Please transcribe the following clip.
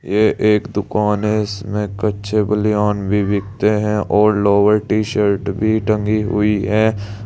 ये एक दुकान है इसमें कच्छे बनियान भी बिकते हैं और लोअर टी शर्ट भी टंगी हुई है।